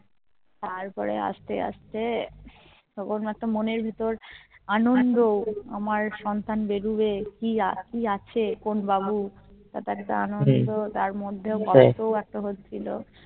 তারপর আস্তে আস্তে তখন মাত্র মনের ভিতর আনন্দ আমার সন্তান বেরোবে কি আছে কোন বাবু তার একটা আনন্দ তার মধ্যেও গল্প এত হচ্ছিলো